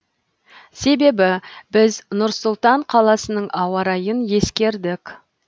себебі біз нұр сұлтан қаласының ауа райын ескердік